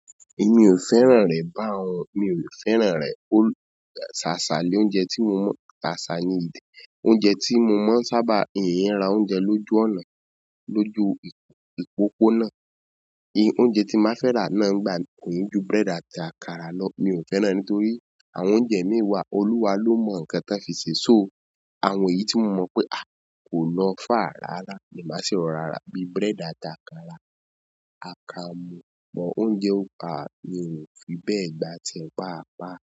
Èmi ò fẹ́ràn rẹ̀ báun, mi ò fẹ́ràn rẹ̀ ó sáa sáa ni oúnjẹ tí mo mọ̀, sáa saa ni oúnjẹ tí mo mọ̀ ń sábà, hinn ń ra oúnjẹ lójú ọ̀nà, lójú ìpòpó náà. Ì, oúnjẹ tí má fẹ́ rà náà ńgba mii kii ju búrẹ́dà àti àkàrà lọ. Mi ò fẹ́ràn ẹ nítorí àwọn oúnjẹ mii wa, Olúwa ló mọ ǹkan tan fi ṣe, so àwọn èyí tí mo mọ̀ pé a! Kò lọ fàa rárá ni màá ṣi rọ̀rá rá bíi búrẹ́dà àti àkàrà. Àkamu, bọ̀ oúnjẹ, a mi ò fi bẹ́ẹ̀ gbá tíẹ páa paá.